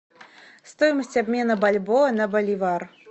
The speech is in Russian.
стоимость обмена бальбоа на боливар